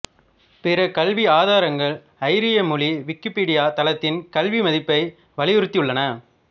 பிற கல்வி ஆதாரங்கள் ஐரிய மொழி விக்கிப்பீடியா தளத்தின் கல்வி மதிப்பை வலியுறுத்தியுள்ளன